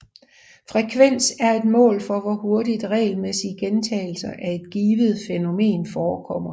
Frekvens er et mål for hvor hurtigt regelmæssige gentagelser af et givet fænomen forekommer